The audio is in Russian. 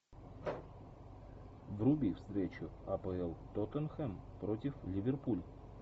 вруби встречу апл тоттенхэм против ливерпуль